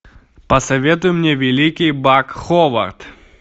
посоветуй мне великий бак ховард